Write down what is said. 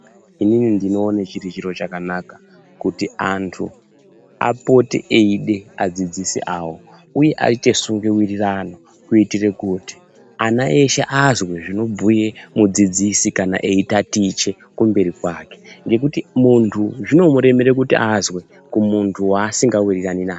Inini ndinoone chiri chiro chakanaka kuti antu apote eide adzidzisi avo uye aite sungewirirano. Kuitire kuti ana eshe azwe zvinobhuye mudzidzisi kana eitatiche kumberi kwake ngekuti zvinomuremera muntu zvinomuremere kuti azwe kumuntu waasingawirirani naye.